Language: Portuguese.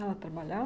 Ela